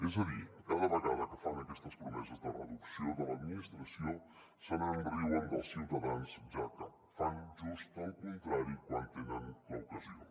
és a dir cada vegada que fan aquestes promeses de reducció de l’administració se’n riuen dels ciutadans ja que fan just el contrari quan en tenen l’ocasió